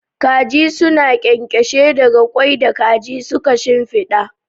Kaji suna ƙyanƙyashe daga ƙwai da kaji suka shimfiɗa.